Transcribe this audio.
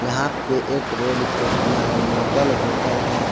यहां पे एक रोड के किनारे मोटल होटल है।